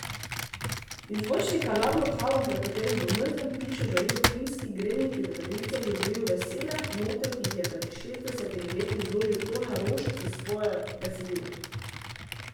Iz zvočnika nad lokalom, pred katerim v mrzlem pišu žarijo plinski grelniki za kadilce, žuborijo vesele note, ki jih je pred šestdesetimi leti zložil Tone Roš za svoje besedilo.